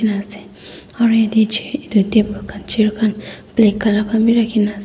eneka ase aro eta chair etu table khan chair khan black colour khan b raki kena--